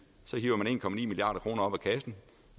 hiver en milliard kroner op af kassen